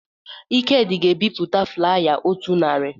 Ikedị ga-ebipụta flaya otu narị